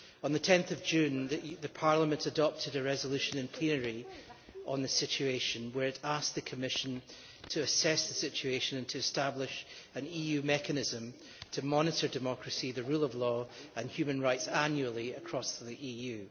On 10 June Parliament adopted a resolution in plenary on this situation, where it asked the Commission to assess the situation and to establish an EU mechanism to monitor democracy, the rule of law and human rights annually across the EU.